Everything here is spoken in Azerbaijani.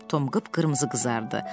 Tom qıp-qırmızı qızardı.